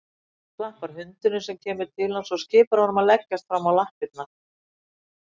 Klappar hundinum sem kemur til hans og skipar honum að leggjast fram á lappirnar.